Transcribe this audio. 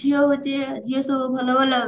ଝିଅ ହଉଛି ଝିଅ ସବୁ ଭଲ ଭଲ